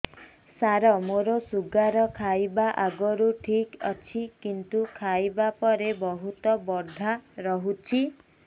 ସାର ମୋର ଶୁଗାର ଖାଇବା ଆଗରୁ ଠିକ ଅଛି କିନ୍ତୁ ଖାଇବା ପରେ ବହୁତ ବଢ଼ା ରହୁଛି